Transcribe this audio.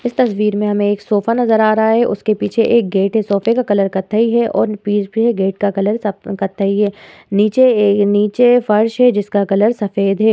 इस तस्वीर में हमें एक सोफ़ा नजर आ रहा है। उसके पीछे एक गेट है। सोफ़े का कलर कत्थई है और पीछे फिर गेट का कलर सफ कत्थई है। नीचे एक नीचे फर्श है जिसका कलर सफेद है।